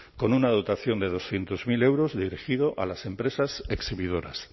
con una dotación de doscientos mil euros dirigido a las empresas exhibidoras